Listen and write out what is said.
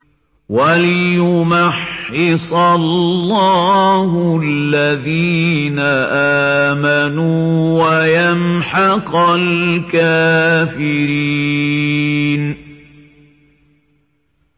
وَلِيُمَحِّصَ اللَّهُ الَّذِينَ آمَنُوا وَيَمْحَقَ الْكَافِرِينَ